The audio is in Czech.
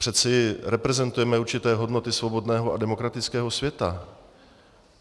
Přeci reprezentujeme určité hodnoty svobodného a demokratického světa.